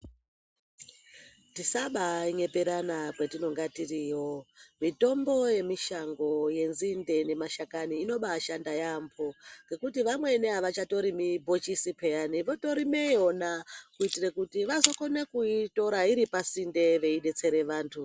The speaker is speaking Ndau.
Tisaba nyeperana kwatinenge tiriyo mitombo yemushango yenzinde nemashakani inobashanda yambo ngekuti vamweni avacharimi ibhokisi piya votorima vona kuitira kuti vazoko na kuitira iri pasinde kudetsera vantu.